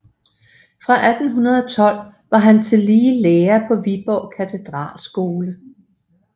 Fra 1812 var han tillige lærer på Viborg Katedralskole